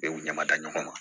E u ɲama da ɲɔgɔn ma